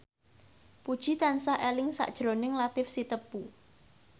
Puji tansah eling sakjroning Latief Sitepu